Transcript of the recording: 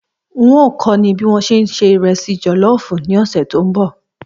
N óò kó̩ o̩ ní bí wọ́n ṣe ń se ìre̩sì jò̩ló̩ò̩fù ní òsè̩ tó ń bò̩